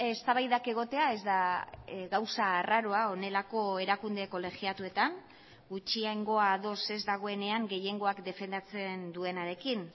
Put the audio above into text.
eztabaidak egotea ez da gauza arraroa honelako erakunde kolegiatuetan gutxiengoa ados ez dagoenean gehiengoak defendatzen duenarekin